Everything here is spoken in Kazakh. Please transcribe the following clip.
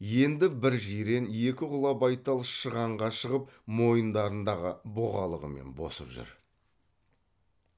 енді бір жирен екі құла байтал шығанға шығып мойындарындағы бұғалығымен босып жүр